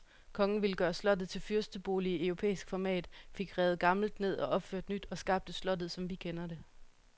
Kongen ville gøre slottet til fyrstebolig i europæisk format, fik revet gammelt ned og opført nyt, og skabte slottet, som vi kender det.